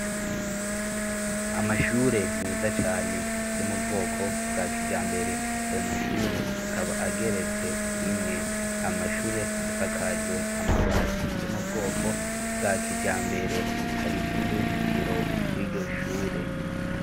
Amashure meza cane yo mu bwoko bwa kijambere; ayo mashure akaba ageretse rimwe. Amashure asakajwe amabati yo mubwoko bwa kijambere; hari n'uruzitiro rw'iyo shure.